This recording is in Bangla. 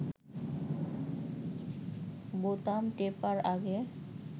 বোতাম টেপার আগে